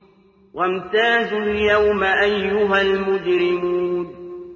وَامْتَازُوا الْيَوْمَ أَيُّهَا الْمُجْرِمُونَ